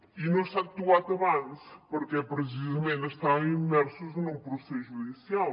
i no s’ha actuat abans perquè precisament estàvem immersos en un procés judicial